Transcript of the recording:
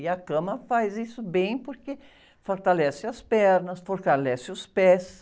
E a cama faz isso bem porque fortalece as pernas, fortalece os pés.